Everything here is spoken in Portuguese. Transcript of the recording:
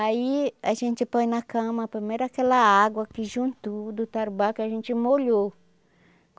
Aí a gente põe na cama, primeiro aquela água que juntou do tarubá que a gente molhou.